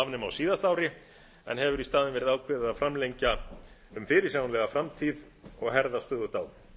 afnema á síðasta ári en hefur í staðinn verið ákveðið að framlengja um fyrirsjáanlega framtíð og herða stöðugt á